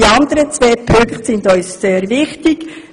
Die anderen beiden Punkte sind uns aber sehr wichtig.